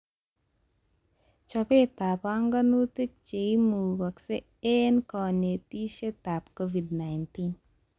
Chobetab banganutik cheimugashei eng konetishetab Covid-19